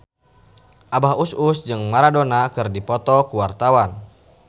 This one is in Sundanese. Abah Us Us jeung Maradona keur dipoto ku wartawan